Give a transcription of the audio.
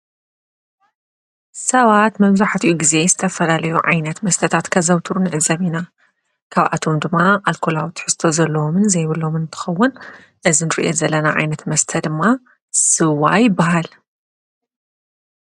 ሰባት መምዙኃትኡ ጊዜ ዝተፈላለዩ ዓይነት መስተታት ከዘውትሩ ንዕዘብ ኢና። ካብ ኣቶም ድማ ኣልኮላዊ ትሕስዘቶ ዘሎዎምን ዘይብሎምን እንተኸውን እዝንርእየት ዘለና ዓይነት መስተ ድማ ሥዋ ይበሃል።